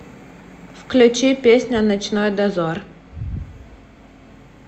включи песня ночной дозор